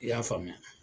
I y'a faamuya